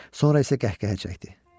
Sonra isə qəhqəhə çəkdi.